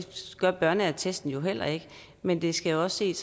gør børneattesten jo heller ikke men det skal også ses